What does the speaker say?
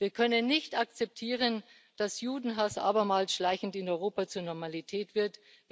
Wir können nicht akzeptieren, dass Judenhass abermals schleichend in Europa zur Normalität wird.